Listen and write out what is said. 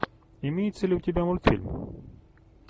имеется ли у тебя мультфильм